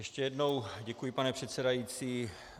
Ještě jednou děkuji, pane předsedající.